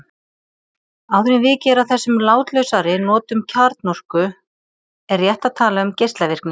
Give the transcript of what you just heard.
Áður en vikið er að þessum látlausari notum kjarnorku er rétt að tala um geislavirkni.